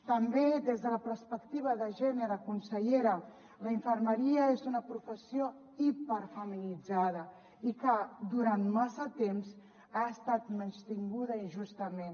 també des de la perspectiva de gènere consellera la infermeria és una professió hiperfeminitzada i que durant massa temps ha estat menystinguda injustament